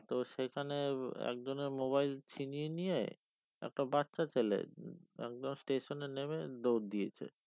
তো সেখানে একজনের mobile ছিনিয়ে নিয়ে একটা বাচ্চা ছেলে একদম station এ নেমে দৌড় দিয়েছে